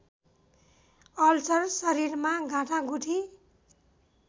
ulcer शरीरमा गाँठागुठी